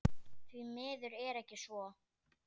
Því miður er ekki svo.